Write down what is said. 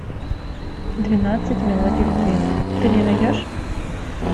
двенадцать мелодий любви ты мне найдешь